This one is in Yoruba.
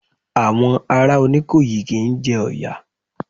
Àwọn ará Oníkòyí kí ń jẹ Ọ̀yà.